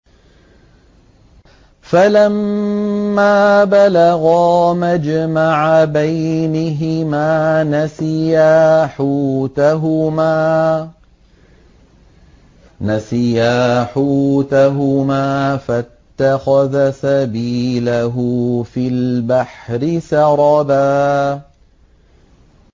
فَلَمَّا بَلَغَا مَجْمَعَ بَيْنِهِمَا نَسِيَا حُوتَهُمَا فَاتَّخَذَ سَبِيلَهُ فِي الْبَحْرِ سَرَبًا